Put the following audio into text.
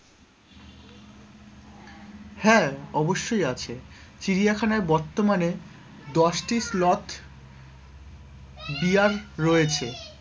হ্যাঁ, অবশ্যই আছে চিড়িয়াখানায় বর্তমানে দশটি dear রয়েছে,